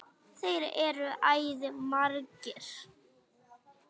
Þeir eru æði margir.